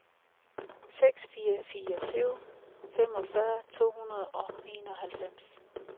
seks fire fire syv femogfyrre to hundrede og enoghalvfjerds